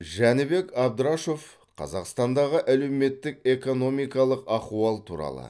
жәнібек абдрашов қазақстандағы әлеуметтік экономикалық ахуал туралы